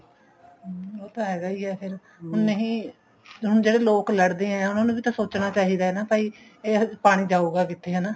ਹਮ ਉਹ ਤਾਂ ਹੈਗਾ ਹੀ ਆ ਫ਼ੇਰ ਨਹੀਂ ਹੁਣ ਜਿਹੜੇ ਲੋਕ ਲੜਦੇ ਆਂ ਉਹਨਾ ਨੂੰ ਵੀ ਤਾਂ ਸੋਚਣਾ ਚਾਹੀਦਾ ਭਾਈ ਇਹ ਪਾਣੀ ਜਾਉਗਾ ਕਿੱਥੇ ਹਨਾ